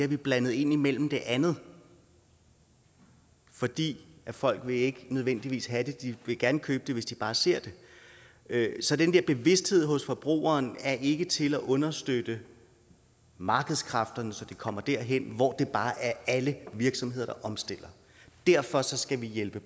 vi blandet indimellem det andet fordi folk ikke nødvendigvis vil have det de vil gerne købe det hvis de bare ser det så den her bevidsthed hos forbrugeren er ikke til at understøtte markedskræfterne så det kommer derhen hvor det bare er alle virksomheder der omstiller derfor skal vi hjælpe